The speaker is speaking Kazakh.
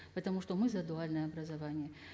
потому что мы за дуальное образование